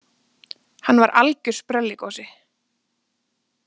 Hann var algjör sprelligosi.